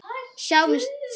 Sjáum til.